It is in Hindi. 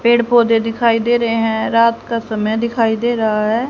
पेड़ पौधे दिखाई दे रहे हैं रात का समय दिखाई दे रहा है।